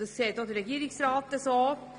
Das sieht auch der Regierungsrat so.